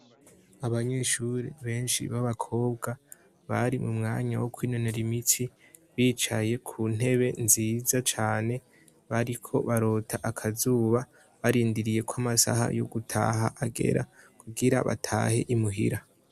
Abanyeshuri benshi b'abakobwa bari mu mwanya wo kwinonera imitsi bicaye ku ntebe nziza cane, bariko barota akazuba barindiriye ko amasaha yo gutaha agera ,kugira batahe imuhira.